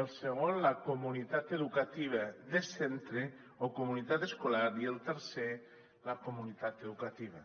el segon la comunitat educativa de centre o comunitat escolar i el tercer la comunitat educativa